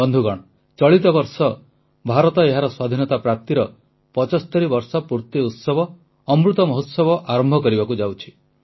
ବନ୍ଧୁଗଣ ଚଳିତ ବର୍ଷ ଭାରତ ଏହାର ସ୍ୱାଧୀନତା ପ୍ରାପ୍ତିର 75 ବର୍ଷ ପୂର୍ତି ଉତ୍ସବ ଅମୃତ ମହୋତ୍ସବ ଆରମ୍ଭ କରିବାକୁ ଯାଉଛି